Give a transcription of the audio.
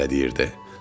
Özü belə deyirdi: